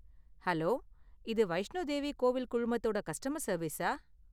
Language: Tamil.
ஹலோ! இது வைஷ்ணோ தேவி கோவில் குழுமத்தோட கஸ்டமர் சர்வீஸா?